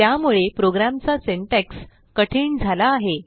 त्यामुळे प्रोग्रॅमचा सिंटॅक्स कठीण झाला आहे